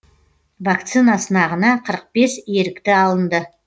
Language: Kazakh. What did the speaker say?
вакцина сынағына қырық бес ерікті алынды